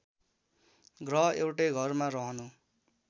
ग्रह एउटै घरमा रहनु